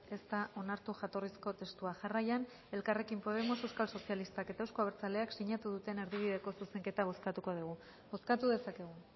ez da onartu jatorrizko testua jarraian elkarrekin podemos euskal sozialistak eta euzko abertzaleak sinatu duten erdibideko zuzenketa bozkatuko dugu bozkatu dezakegu